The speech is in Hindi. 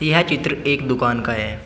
यह चित्र एक दुकान का है।